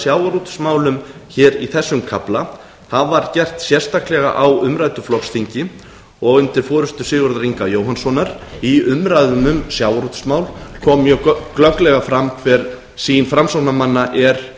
sjávarútvegsmálum í þessum kafla það var gert sérstaklega á umræddu flokksþingi og undir forustu sigurðar inga jóhannssonar í umræðum um sjávarútvegsmál kom mjög glögglega fram hver sýn framsóknarmanna er